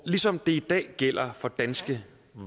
ligesom det i dag gælder for danske